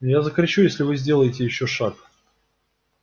я закричу если вы сделаете ещё шаг